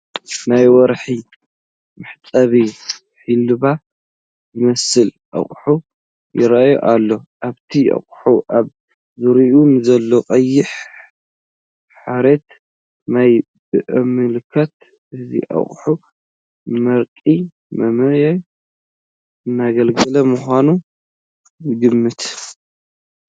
ናይ ወርሒ መሕፀቢ ሒላብ ዝመስል ኣቕሓ ይርአ ኣሎ፡፡ ኣብቲ ኣቕሓን ኣብ ዙሪኡን ንዘሎ ቀይሕ ሐሪት ማይ ብምምልካት እዚ ኣቕሓ ንመርቂ መመዪ እናገልገለ ምዃኑ ንግምት፡፡